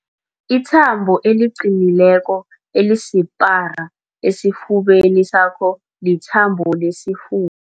Ithambo eliqinileko elisipara esifubeni sakho lithambo lesifu